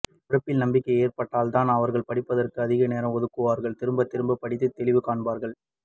உழைப்பில் நம்பிக்கை ஏற்பட்டல்தான் அவர்கள் படிப்பதற்க்கு அதிக நேரம் ஒதுக்குவார்கள் திரும்பத் திரும்பப் படித்து தெளிவு காண்பார்கள்